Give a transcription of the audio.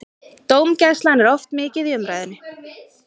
Dómgæslan er oft mikið í umræðunni.